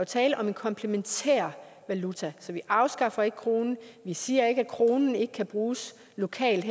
tale om en komplementær valuta så vi afskaffer ikke kronen vi siger ikke at kronen ikke kan bruges lokalt